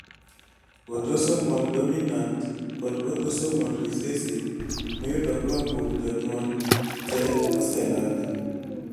autosomal dominant kod autosomal recessive miyudo koa kuom jonyuol te oselandi